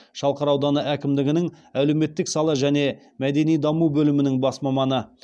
шалқар ауданы әкімдігінің әлеуметтік сала және мәдени даму бөлімінің бас маманы